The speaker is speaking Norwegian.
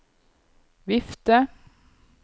vifte